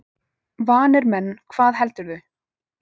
Vanir menn, hvað heldurðu!